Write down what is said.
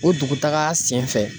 O dugu taga sen fɛ